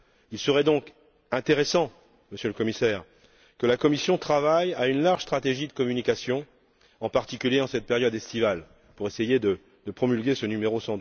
Il serait donc intéressant, Monsieur le Commissaire, que la Commission travaille à une large stratégie de communication, en particulier dans cette période estivale, pour essayer de promulguer ce numéro